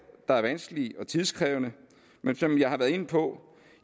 der er vanskelige og tidkrævende men som jeg har været inde på